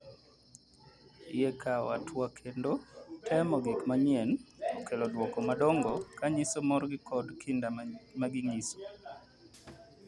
Yie kawo atua kendo temo gik manyien okelo duoko madongo kanyiso morgi kod kinda maginyiso.